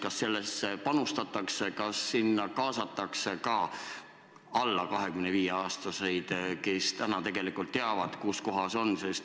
Kas sellesse panustatakse, kas sinna kaasatakse ka alla 25-aastaseid, kes tegelikult teavad, kuskohas noored ikkagi on?